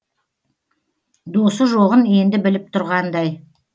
досы жоғын енді біліп тұрғандай